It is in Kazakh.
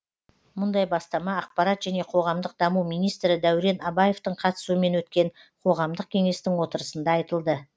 мұндай бастама ақпарат және қоғамдық даму министрі дәурен абаевтың қатысуымен өткен қоғамдық кеңестің отырысында айтылды